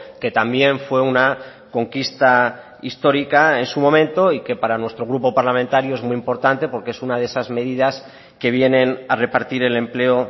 que también fue una conquista histórica en su momento y que para nuestro grupo parlamentario es muy importante porque es una de esas medidas que vienen a repartir el empleo